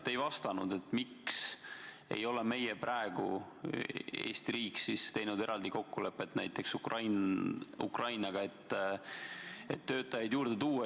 Te ei vastanud, miks ei ole praegu Eesti riik teinud eraldi kokkulepet näiteks Ukrainaga, et töötajaid juurde tuua.